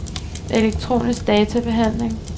elektronisk databehandling